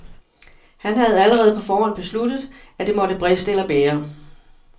Han havde allerede på forhånd besluttet, at det måtte briste eller bære.